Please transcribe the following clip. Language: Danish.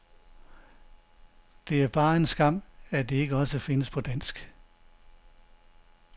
Det er bare en skam, de ikke også findes på dansk.